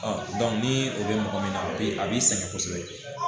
ni o bɛ mɔgɔ min na a bɛ a b'i sɛgɛn kosɛbɛ